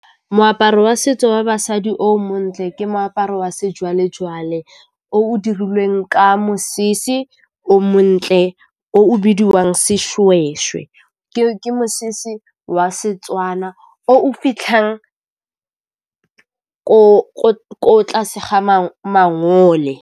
Moaparo wa setso wa basadi o montle ke moaparo wa sejwalejwale, o o dirilweng ka mosese o montle o o bidiwang Sešwešwe. Ke mosese wa Setswana o o fitlhang ko tlase ga mangole.